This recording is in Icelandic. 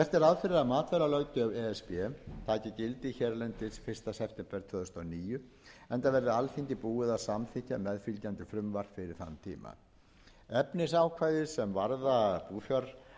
fyrir að matvælalöggjöf e s b taki gildi hérlendis fyrsta september tvö þúsund og níu enda verði alþingi búið að samþykkja meðfylgjandi frumvarp fyrir þann tíma efnisákvæði sem varða búfjárafurðir taka þó